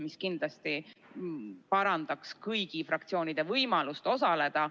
See kindlasti parandaks kõigi fraktsioonide võimalust osaleda.